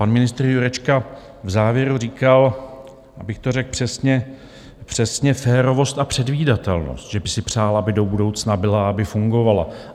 Pan ministr Jurečka v závěru říkal, abych to řekl přesně, přesně férovost a předvídatelnost, že by si přál, aby do budoucna byla, aby fungovala.